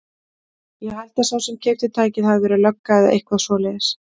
Ég held að sá sem keypti tækið hafi verið lögga eða eitthvað svoleiðis.